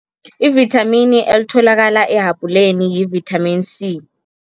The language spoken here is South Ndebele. I-vithamini elitholakala e-habhuleni yi-vitamin C.